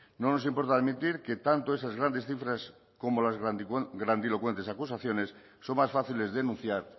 no nos importa admitir que tanto esas grandes cifras como las grandilocuentes acusaciones son más fáciles de denunciar